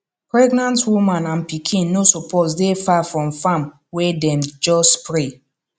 pregnant woman and pikin no suppose dey far from farm wey dem just spray